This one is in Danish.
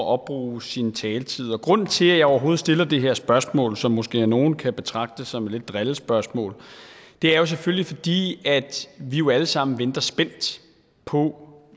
opbruge sin taletid grunden til at jeg overhovedet stiller det her spørgsmål som måske af nogle kan betragtes som lidt et drillespørgsmål er selvfølgelig fordi vi jo alle sammen venter spændt på